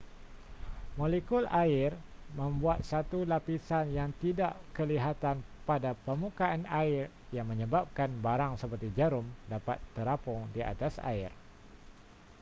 molekul air membuat satu lapisan yang tidak kelihatan pada permukaan air yang menyebabkan barang seperti jarum dapat terapung di atas air